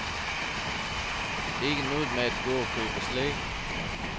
Ikke noget med at gå og købe slik.